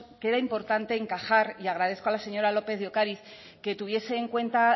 que era importante encajar y agradezco a la señora lópez de ocariz que tuviese en cuenta